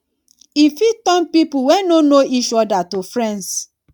e fit turn pipo wey no know each oda to friends